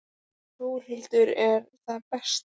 Þórhildur: Er það best þannig?